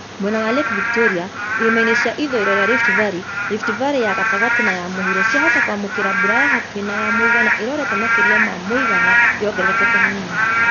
Mwena wa Lake Victoria, irĩma-inĩ cia ithũĩro rĩa Rift Valley, Rift valley ya gatagatĩ na ya mũhuro ciahota kwamũkĩra mbura ya hakuhĩ nay a mũigana irorete makĩria ma muigana (yongererekete hanini)